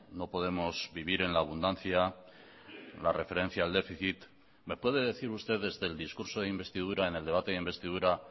no podemos vivir en la abundancia la referencia al déficit me puede decir usted desde el discurso de investidura en el debate de investidura